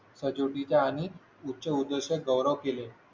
सजावटीच्या आणि उच्च उत्कर्ष गौरव केले